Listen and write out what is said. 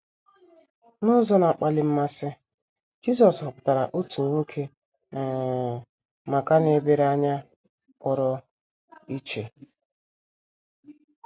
N’ụzọ na - akpali mmasị, Jisọs họpụtara otu nwoke um maka nlebara anya pụrụ iche.